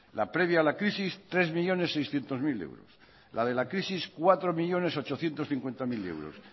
la previa a la crisis tres millónes seiscientos mil euros la de la crisis cuatro millónes ochocientos cincuenta mil euros